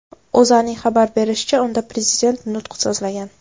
O‘zAning xabar berishicha , unda Prezident nutq so‘zlagan.